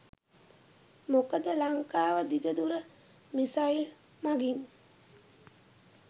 මොකද ලංකාව දිග දුර මිසයිල් මගින්